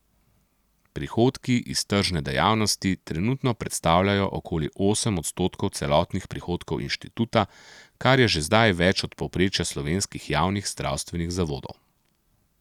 Prihodki iz tržne dejavnosti trenutno predstavljajo okoli osem odstotkov celotnih prihodkov inštituta, kar je že zdaj več od povprečja slovenskih javnih zdravstvenih zavodov.